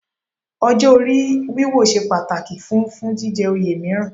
Ọjọ́ orí wíwò ṣe pàtàkì fún fún jíjẹ oyè mìíràn